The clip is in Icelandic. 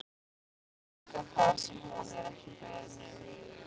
Líka það sem hún er ekki beðin um.